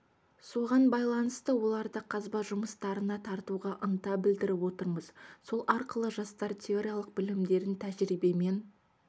соған байланысты оларды қазба жұмыстарына тартуға ынта білдіріп отырмыз сол арқылы жастар теориялық білімдерін тәжірибемен